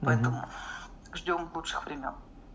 понял ждём лучших времён